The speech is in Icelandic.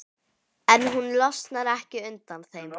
En hún losnar ekki undan þeim.